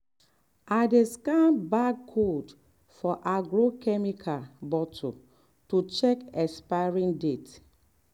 i dey scan barcode for agro-chemical bottle to check expiry date.